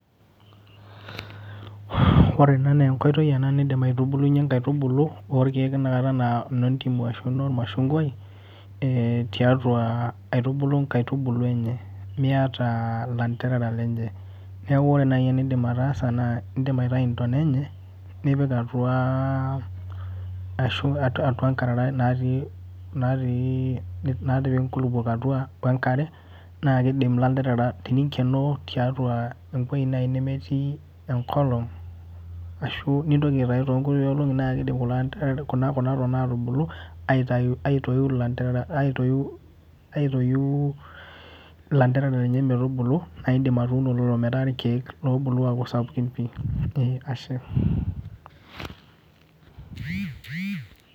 Ore ena naa, enkoitoi nidim aitubulunyie nkaitubulu orkeek tenakata naa, nodimu, arashu normashungai eh tiatua aitubulu nkaitubulu enye. Miata laterera lenye. Neaku ore naaji enidim aataasa naa, idim aitayu intona enye nipik atua ashu, atua nkarara naatii nkulupuok atua we enkare, naa keim laterera teningenoo tiatua ewueji naaji naa keim ekolong ashu tenitoki aitayu too kulie olongi naa kidim kulo aterera kuna tona atubulu atoiu ilaterera aitoiu laterera lenye metubulu naaidim atuuno lelo metaa irkeek obulu aaku sapukin pi eh ashe.